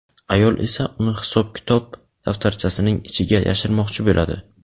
ayol esa uni hisob-kitob daftarchasining ichiga yashirmoqchi bo‘ladi.